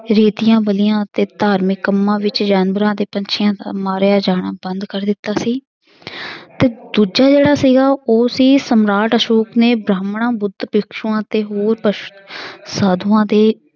ਰੀਤੀਆਂ ਬਲੀਆਂ ਅਤੇ ਧਾਰਮਿਕ ਕੰਮਾਂ ਵਿੱਚ ਜਾਨਵਰਾਂ ਅਤੇ ਪੰਛੀਆਂ ਦਾ ਮਾਰਿਆ ਜਾਣਾ ਬੰਦ ਕਰ ਦਿੱਤਾ ਸੀ ਤੇ ਦੂਜਾ ਜਿਹੜਾ ਸੀਗਾ ਉਹ ਸੀ ਸਮਰਾਟ ਅਸ਼ੌਕ ਨੇ ਬ੍ਰਾਹਮਣਾਂ, ਬੁੱਧ, ਭਿਕਸ਼ੂਆਂ ਅਤੇ ਹੋਰ ਪਸ~ ਸਾਧੂਆਂ ਤੇ